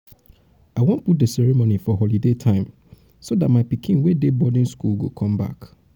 i wan put the ceremony for holiday time so dat my pikin wey dey boarding school go come back.